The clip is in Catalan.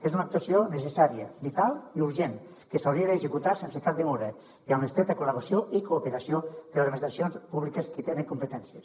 és una actuació necessària vital i urgent que s’hauria d’executar sense cap demora i amb l’estreta col·laboració i cooperació entre administracions públiques que hi tenen competències